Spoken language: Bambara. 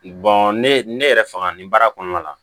ne ne yɛrɛ faga nin baara kɔnɔna la